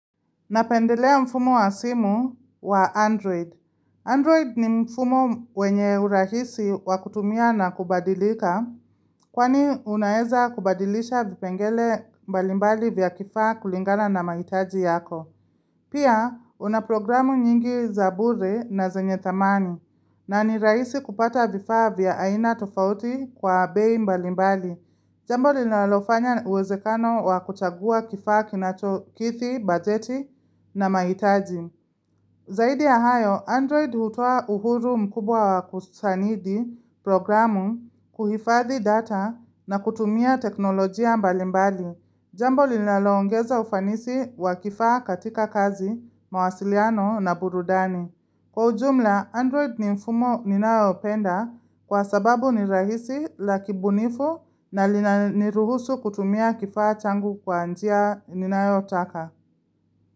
Napendelea mfumo wa simu wa Android. Android ni mfumo wenye urahisi wa kutumia na kubadilika kwani unaeza kubadilisha vipengele mbalimbali vya kifaa kulingana na mahitaji yako. Pia, una programu nyingi za bure na zenye dhamani, na ni rahisi kupata vifaa vya aina tofauti kwa bei mbali mbali. Jambo linalofanya uwezekano wa kuchagua kifaa kinachokidhi, bajeti na mahitaji. Zaidi ya hayo, Android hutoa uhuru mkubwa wa kusanidi programu, kuhifadhi data na kutumia teknolojia mbali mbali. Jambo linalongeza ufanisi wa kifaa katika kazi, mawasiliano na burudani. Kwa ujumla, Android ni mfumo ninaopenda kwa sababu ni rahisi la kibunifu na linaniruhusu kutumia kifaa changu kwa njia ninayotaka.